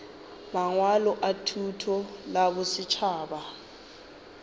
mangwalo a thuto la bosetšhaba